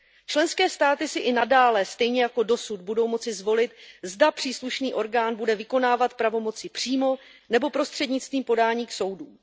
Členské státy si i nadále, stejně jako dosud, budou moci zvolit, zda příslušný orgán bude vykonávat pravomoci přímo nebo prostřednictvím podání k soudům.